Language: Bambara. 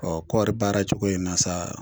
Ɔ kɔri baara cogo in na sa.